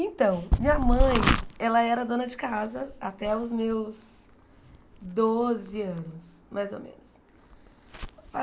Então, minha mãe, ela era dona de casa até os meus doze anos, mais ou menos.